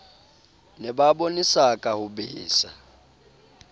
ne ba bonesaka ho besa